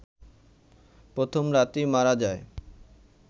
প্রথম রাতেই মারা যায়